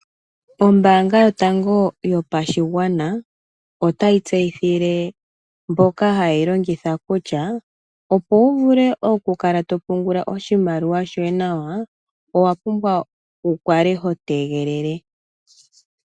Ombaanga yotango yopashigwana, otayi tseyithile mboka hayeyi longitha kutya, opo wu vule okukala topungula oshimaliwa shoye nawa, owa pumbwa wu kale ho tegelele.